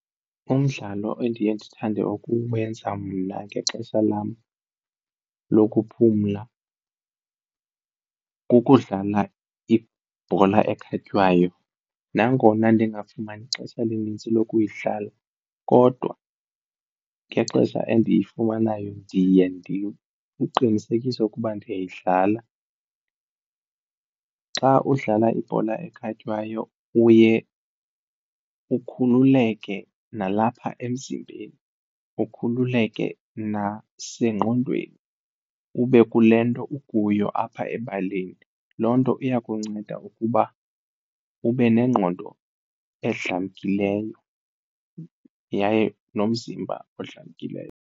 Umdlalo endiye ndithande ukuwenza mna ngexesha lam lokuphumla kukudlala ibhola ekhatywayo nangona ndingafumani xesha linintsi lokuyidlala kodwa ngexesha endiyifumanayo ndiye ndiqinisekise ukuba ndiyayidlala. Xa udlala ibhola ekhatywayo uye ukhululeke nalapha emzimbeni, ukhululeke nasengqondweni kube kule nto ukuyo apha ebaleni. Loo nto iya kunceda ukuba ube nengqondo edlamkileyo yaye nomzimba odlamkileyo.